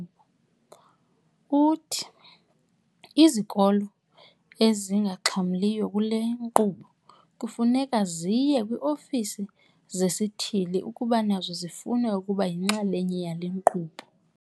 Uthi izikolo ezingaxhamliyo kule nkqubo kufuneka ziye kwi-ofisi zesithili ukuba nazo zifuna ukuba yinxalenye yale nkqubo.